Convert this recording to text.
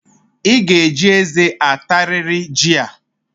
I ga-eji eze atariri jị a